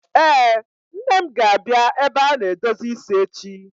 Ee, Nne m ga-abịa ebe a na-edozi isi echi.